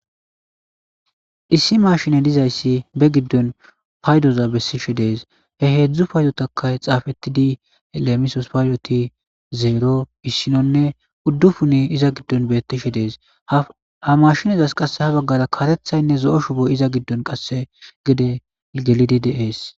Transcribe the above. Issi mashine dizayssi be giddon paydoza bessishe de7es he heedzdzu payyotakay xaafetidi lemisos payyoti zero issinonne uddufuni iza giddon beettishe de7es ha mashinizas qasse ha baggara karethaynne zo7o shuboy iza giddon qasse gede gelidi de7ees.